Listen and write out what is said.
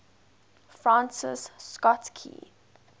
francis scott key